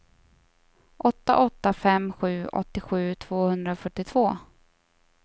åtta åtta fem sju åttiosju tvåhundrafyrtiotvå